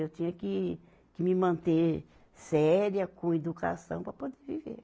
Eu tinha que, que me manter séria, com educação, para poder viver.